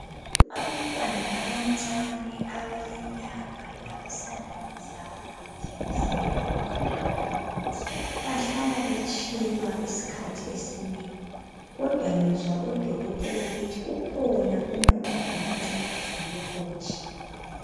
Abantwana abancane abalenyanga labasanda kuzalwa nje kusiya phezudlwana bahlala betshilwa isikhathi esinengi kodwa ngizwa udokotela esithi ukhona umuthi ongabancedisa lokho kutshilwa